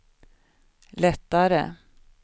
lättare